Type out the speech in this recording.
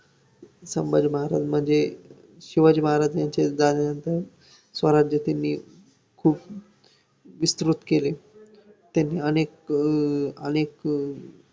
मग ताई त्यांना सुट्टी सुट्टी कधी द्यायची त्यांना .